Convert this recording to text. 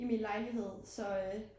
I min lejlighed så øh